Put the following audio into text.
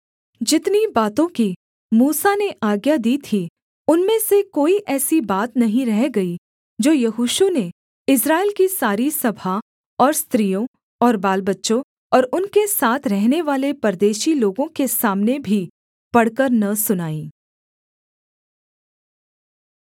जितनी बातों की मूसा ने आज्ञा दी थी उनमें से कोई ऐसी बात नहीं रह गई जो यहोशू ने इस्राएल की सारी सभा और स्त्रियों और बालबच्चों और उनके साथ रहनेवाले परदेशी लोगों के सामने भी पढ़कर न सुनाई